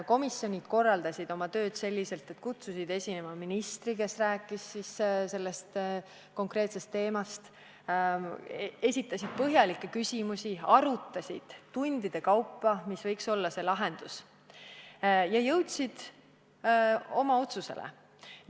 Komisjonid korraldasid oma töö selliselt, et kutsusid esinema ministri, kes rääkis konkreetsest teemast, seejärel esitati põhjalikke küsimusi, arutati tundide kaupa, mis võiks olla lahendus, ja lõpuks jõuti otsusele.